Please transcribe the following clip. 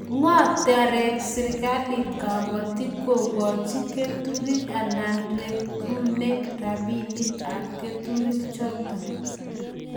Ngo taret serikalit kabatik kokoch keturek anan ko regune rabinik ab keturek chotok